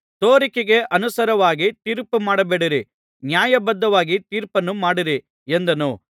ತೋರಿಕೆಗೆ ಅನುಸಾರವಾಗಿ ತೀರ್ಪುಮಾಡಬೇಡಿರಿ ನ್ಯಾಯಬದ್ಧವಾಗಿ ತೀರ್ಪುನ್ನು ಮಾಡಿರಿ ಎಂದನು